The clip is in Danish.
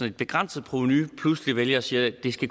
et begrænset provenu pludselig vælger at sige at det